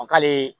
k'ale